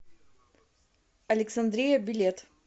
александрия билет